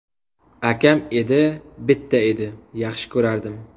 Akam edi, bitta edi… Yaxshi ko‘rardim.